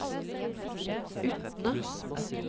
Utne